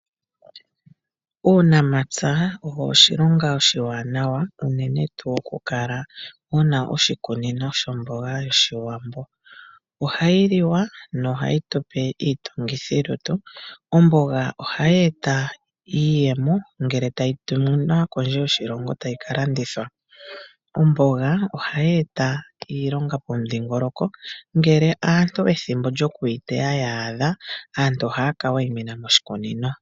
Uunamapya owo oshilonga oshiwanawa unene tuu okukala wuna oshikunino shomboga yoshiwambo. Ohayi liwa nohayi tupe iitungithilutu. Omboga ohayi eta iiyemo ngele tayi tuminwa kondje yoshilongo tayi kalandithwa. Omboga ohayi eta iilonga pomudhingoloko ngele aantu ethimbo lyokuyiteya lya adha aantu ohaya kawaimina moshikunino.